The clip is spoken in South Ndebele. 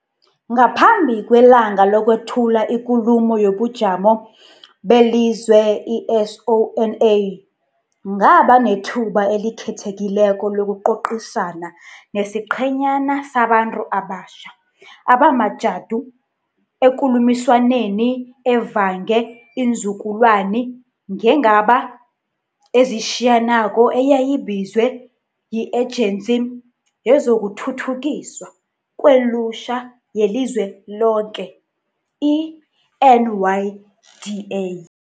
Ngaphambi kwelanga lokwethula iKulumo yobuJamo beliZwe, i-SoNA, ngaba nethuba elikhethekileko lokucocisana nesiqhenyana sabantu abatjha abamajadu ekulumiswaneni evange iinzukulwani ngeenga ba ezitjhiyanako eyayibizwe yi-Ejensi yezokuThuthukiswa kweLutjha yeliZweloke, i-NYDA.